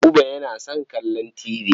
Buba yana son kallon tibi.